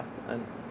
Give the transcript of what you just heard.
en